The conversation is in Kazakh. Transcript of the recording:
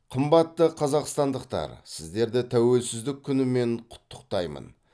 қымбатты қазақстандықтар сіздерді тәуелсіздік күнімен құттықтаймын